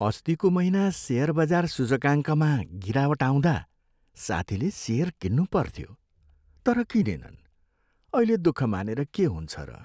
अस्तिको महिना सेयर बजार सूचकाङ्कमा गिरावट आउँदा साथील सेयर किन्नुपर्थ्यो तर किनेनन्। अहिले दुःख मानेर के हुन्छ र?